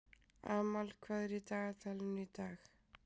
Amal, hvað er í dagatalinu í dag?